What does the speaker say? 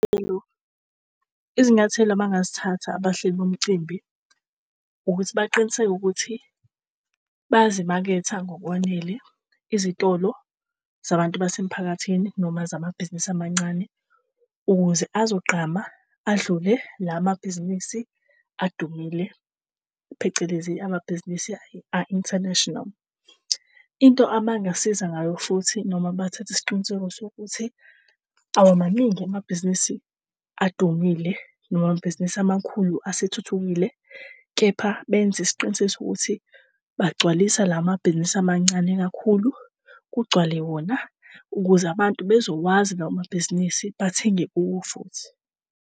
Izinyathelo abangazithatha abahleli bomcimbi ukuthi baqiniseke ukuthi bazimaketha ngokwanele izitolo zabantu base mphakathini noma zamabhizinisi amancane. Ukuze azogqama adlule lamabhizinisi adumile, phecelezi amabhizinisi a-international. Into abangasiza ngayo futhi noma bathathe isiqiniseko sokuthi awamaningi amabhizinisi adumile noma amabhizinisi amakhulu asethuthukile. Kepha benze isiqiniseko sokuthi bagcwalise lamabhizinisi amancane kakhulu, kugcwale wona ukuze abantu bezowazi lawomabhizinisi bathenge kuwo futhi.